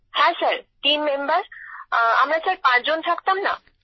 হ্যাঁ sir team member আমরা sir পাঁচ জন থাকতাম